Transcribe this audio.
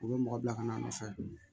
U bɛ mɔgɔ bila ka na a nɔfɛ